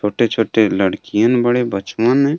छोटे छोटे लड़कियन बड़े बचवन में।